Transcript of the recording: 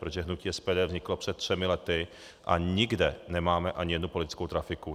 Protože hnutí SPD vzniklo před třemi lety a nikde nemáme ani jednu politickou trafiku.